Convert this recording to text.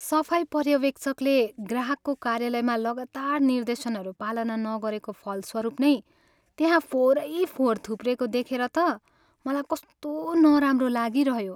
सफाइ पर्यवेक्षकले ग्राहकको कार्यालयमा लगातार निर्देशनहरू पालना नगरेको फलस्वरूप नै त्यहाँ फोहोरै फोहोर थुप्रिएको देखेर त मलाई कस्तो नराम्रो लागिरह्यो।